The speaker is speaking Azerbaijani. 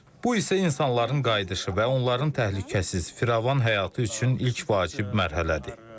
Bu isə insanların qayıdışı və onların təhlükəsiz, firavan həyatı üçün ilk vacib mərhələdir.